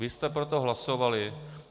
Vy jste pro to hlasovali.